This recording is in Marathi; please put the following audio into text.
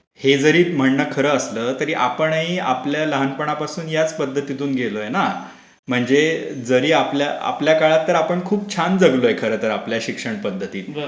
हे जरी म्हणणं खरं असलं तरी आपणही आपल्या लहानपणापासून याच पध्दतीतून गेलोय ना. म्हणजे जरी आपल्या काळात खूप छान जगलोय खरं तर शिक्षण पध्दतीत.